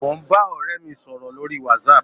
Mo ń bá ọ̀rẹ́ mi sọ̀rọ̀ lórí whatsapp.